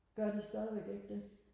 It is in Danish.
gør de stadigvæk ikke det